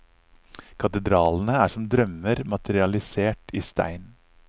Katedralene er som drømmer materialisert i stein.